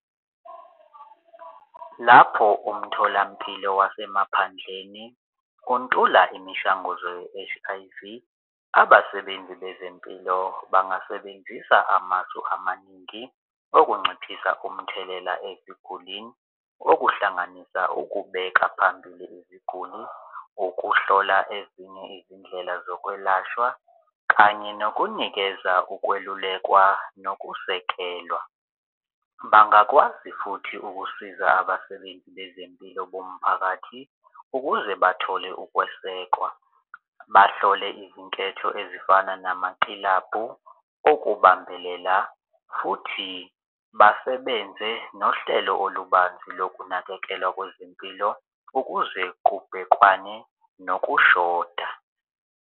Lapho umtholampilo wasemaphandleni ukuntula imishanguzo ye-H_I_V abasebenzi bezempilo bangasebenzisa amasu amaningi ukunciphisa umthelela ezigulini okuhlanganisa ukubeka phambili iziguli, ukuhlola ezinye izindlela zokwelashwa kanye nokunikeza ukwelulekwa nokusekelwa. Bangakwazi futhi ukusiza abasebenzi bezempilo bomphakathi ukuze bathole ukwesekwa, bahlole izinketho ezifana namakilabhu ukubambelela futhi basebenze nohlelo olubanzi lokunakekelwa kwezempilo ukuze kubhekwane nokushoda.